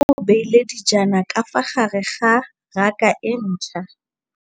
Mmê o beile dijana ka fa gare ga raka e ntšha.